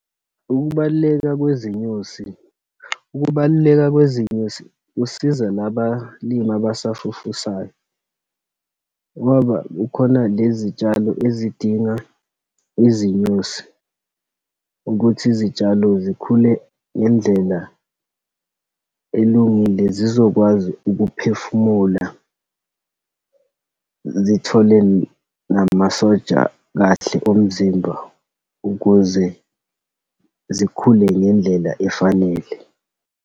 Ukubaluleka kwezinyosi, ukubaluleka kwezinyosi kusiza labalimi abasafufusayo, ngoba kukhona lezitshalo ezidinga izinyosi, ukuthi izitshalo zikhule ngendlela elungile, zizokwazi ukuphefumula, zithole namasoja kahle omzimba ukuze zikhule ngendlela efanele.